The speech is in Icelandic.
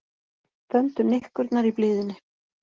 Þöndu nikkurnar í blíðunni